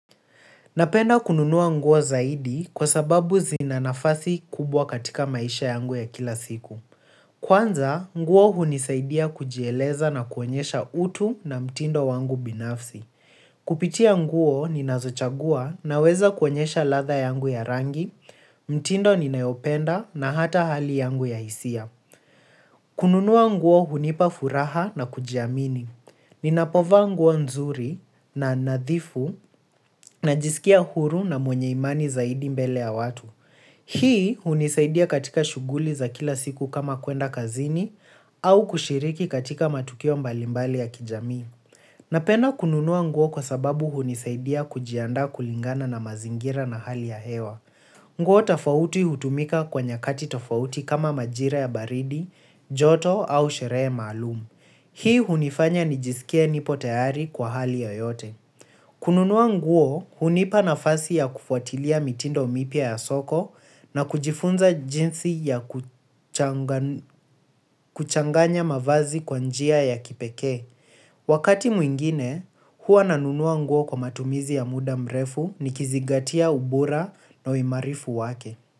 Napenda kununua nguo zaidi kwa sababu zina nafasi kubwa katika maisha yangu ya kila siku. Kwanza nguo hunisaidia kujieleza na kuonyesha utu na mtindo wangu binafsi kupitia nguo, ninazochagua naweza kuonyesha ladha yangu ya rangi, mtindo ninayopenda na hata hali yangu ya hisia. Kununuaa nguo hunipa furaha na kujiamini. Ninapovaa nguo nzuri na nadhifu na jisikia huru na mwenye imani zaidi mbele ya watu. Hii hunisaidia katika shuguli za kila siku kama kwenda kazini au kushiriki katika matukio mbalimbali ya kijamii. Napenda kununua nguo kwa sababu hunisaidia kujiandaa kulingana na mazingira na hali ya hewa. Nguo tofauti hutumika kwa nyakati tofauti kama majira ya baridi, joto au sheree malumu. Hii hunifanya nijisikie nipo tayari kwa hali yoyote. Kununua nguo hunipa nafasi ya kufuatilia mitindo mipya ya soko na kujifunza jinsi ya kuchanganya mavazi kwa njia ya kipekee. Wakati mwingine, huwa nanunua nguo kwa matumizi ya muda mrefu ni kizigatia ubora na uimarifu wake.